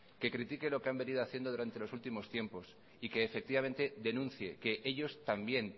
que critiquen lo que han venido haciendo durante los últimos tiempos y que efectivamente denuncie que ellos también